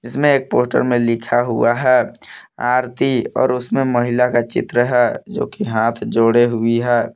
इसमें एक पोस्टर में लिखा हुआ है आरती और उसमें महिला का चित्र है जोकि हाथ जोड़े हुई है।